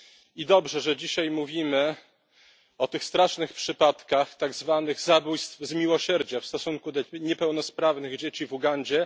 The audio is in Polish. I dobrze, że dzisiaj mówimy o tych strasznych przypadkach tak zwanych zabójstw z miłosierdzia w stosunku do niepełnosprawnych dzieci w Ugandzie.